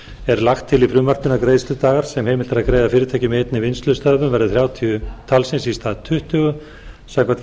er lagt til í frumvarpinu að greiðsludagar sem heimilt er að greiða fyrirtækjum í einni vinnslustöðvun verði þrjátíu talsins í stað tuttugu samkvæmt